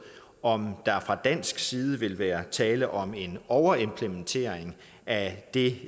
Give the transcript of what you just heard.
om der fra dansk side vil være tale om en overimplementering af det